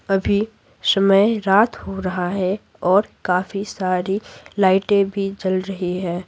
अभी समय रात हो रहा हैऔर काफी सारी लाइटें भी जल रही है।